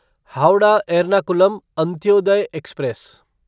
Howrah Ernakulam Antyodaya express